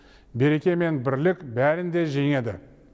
береке мен бірлік бәрін де жеңеді